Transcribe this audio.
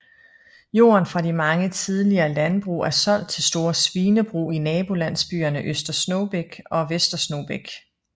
Jorden fra de mange tidligere landbrug er solgt til store svinebrug i nabolandsbyerne Øster Snogbæk og Vester Snogbæk